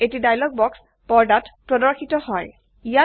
এটি ডায়লগ বাক্স পৰ্দাত প্ৰৰ্দশিত হয়